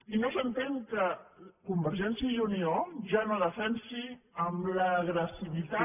i no s’entén que convergència i unió ja no defensi amb l’agressivitat